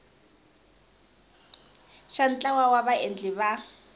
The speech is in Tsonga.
xa ntlawa wa vaendli va